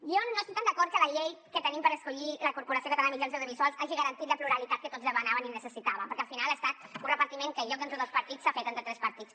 jo no estic tan d’acord que la llei que tenim per escollir la corporació catalana de mitjans audiovisuals hagi garantit la pluralitat que tots demanàvem i necessitàvem perquè al final ha estat un repartiment que en lloc d’entre dos partits s’ha fet entre tres partits